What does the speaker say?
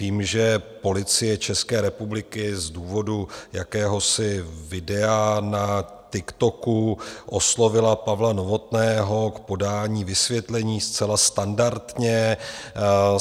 Vím, že Policie České republiky z důvodu jakéhosi videa na TikToku oslovila Pavla Novotného k podání vysvětlení, zcela standardně.